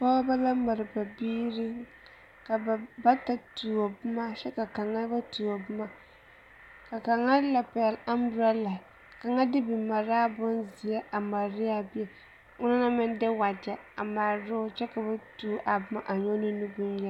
Pɔgeba la mare biiri ka ba bata tuo boma kyɛ kaŋ ba tuo boma ka kaŋ la pɛgle amborala kaŋ de bimaraa bonzeɛ a mare ne a bie ona naŋ de wagyɛ mare ne o kyɛ ka ba tuo a boma nyɔge ne nubonyeni.